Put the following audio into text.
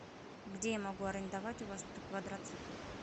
где я могу арендовать у вас квадроцикл